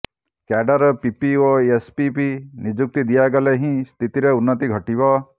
cadre PP ଓ APP ନିଯୁକ୍ତି ଦିଆଗଲେ ହିଁ ସ୍ଥିତିରେ ଉନ୍ନତି ଘଟିବ